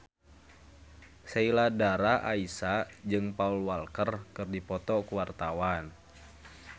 Sheila Dara Aisha jeung Paul Walker keur dipoto ku wartawan